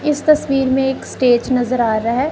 इस तस्वीर में एक स्टेज नजर आ रहा है।